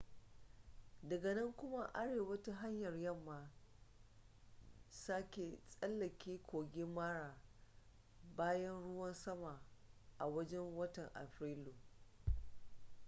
daga nan koma arewa ta hanyar yamma sake tsallake kogin mara bayan ruwan sama a wajen watan afrilu